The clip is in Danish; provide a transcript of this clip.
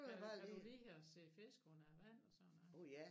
Men kan du lide at se fisk under vand og sådan